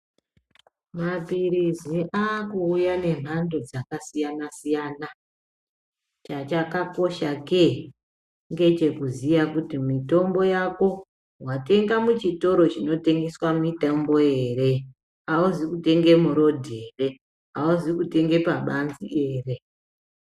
Maphiritsi akuuya nemhando dzakasiyana-siyana, changa chakakoshake ngechekuziya kuti mitombo yako watenga muchitoro chinotengese mitombo here, auzi kutenge murodhi here, hauzi kutenge pabanzi here.